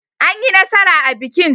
Anyi nasara a bikin.